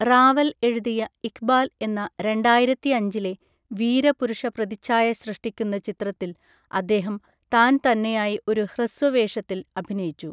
റാവൽ എഴുതിയ ഇഖ്ബാൽ എന്ന രണ്ടായിരത്തി അഞ്ചിലെ വീരപുരുഷ പ്രതിച്ഛായ സൃഷ്ടിക്കുന്ന ചിത്രത്തിൽ അദ്ദേഹം താൻ തന്നെയായി ഒരു ഹ്രസ്വവേഷത്തിൽ അഭിനയിച്ചു.